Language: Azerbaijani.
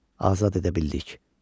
azad edə bildik.